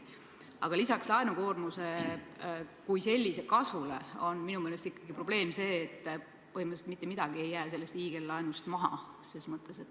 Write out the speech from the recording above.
Aga lisaks laenukoormuse kui sellise kasvule on minu meelest ikkagi probleem see, et põhimõtteliselt mitte midagi ei jää sellest hiigellaenust maha.